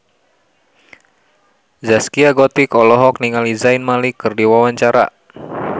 Zaskia Gotik olohok ningali Zayn Malik keur diwawancara